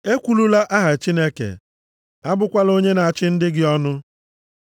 “Ekwulula aha Chineke, abụkwala onye na-achị ndị gị ọnụ.